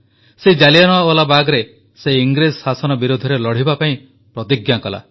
ସେହି ଜାଲିଆନାୱାଲାବାଗରେ ସେ ଇଂରେଜ ଶାସନ ବିରୋଧରେ ଲଢ଼ିବା ପାଇଁ ପ୍ରତିଜ୍ଞା କଲା